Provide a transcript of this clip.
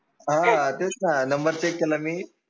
तेच ना number check केला मी